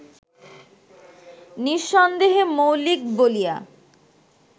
নিঃসন্দেহে মৌলিক বলিয়া